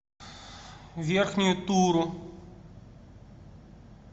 верхнюю туру